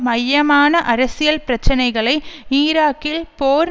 மையமான அரசியல் பிரச்சனைகளை ஈராக்கில் போர்